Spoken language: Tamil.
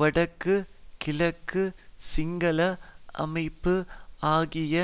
வடக்கு கிழக்கு சிங்கள அமைப்பு ஆகிய